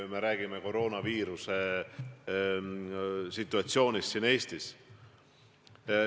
Me räägime koroonaviiruse põhjustatud situatsioonist Eestis.